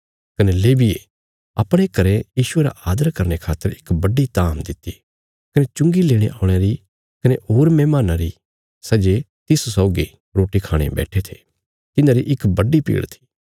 कने लेविये अपणे घरें यीशुये रा आदर करने खातर इक बड्डी धाम दित्ति कने चुंगी लेणे औल़यां री कने होर मेहमान्नां री सै जे तिस सौगी रोटी खाणे बैट्ठे थे तिन्हांरी इक बड्डी भीड़ थी